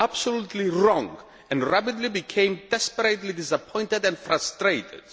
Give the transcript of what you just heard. We were absolutely wrong and have rapidly become desperately disappointed and frustrated.